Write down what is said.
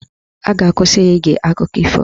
A ga-akwụsị ya ige akụkọ ifo